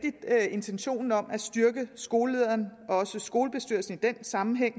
intentionen om at styrke skolelederen og også skolebestyrelsen i den sammenhæng